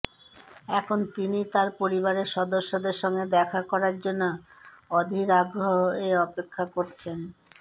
এখন তিনি তার পরিবারের সদস্যদের সঙ্গে দেখা করার জন্য অধীর আগ্রহে অপেক্ষা করছেন